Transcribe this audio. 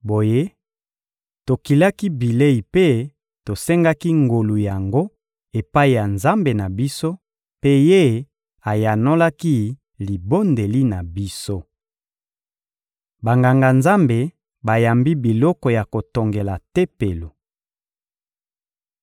Boye, tokilaki bilei mpe tosengaki ngolu yango epai ya Nzambe na biso, mpe Ye ayanolaki libondeli na biso. Banganga-Nzambe bayambi biloko ya kotongela Tempelo